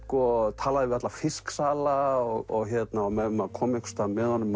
talaði við alla fisksala og ef maður kom einhvers staðar með honum